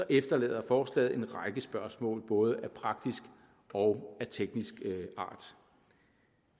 efterlader forslaget en række spørgsmål både af praktisk og af teknisk art